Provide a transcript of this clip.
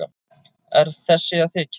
Er þessi að þykjast?